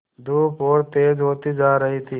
धूप और तेज होती जा रही थी